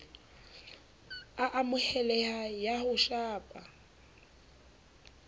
a amoheleha ya ho shapa